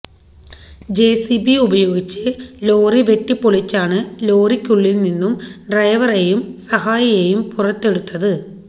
JCB ഉപയോഗിച്ച് lorry വെട്ടിപ്പൊളിച്ചാണ് ലോറിക്കുള്ളിൽ നിന്നും ഡ്രൈവറേയും സഹായിയെയും പുറത്തെടുത്തത്